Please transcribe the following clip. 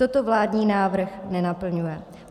Toto vládní návrh nenaplňuje.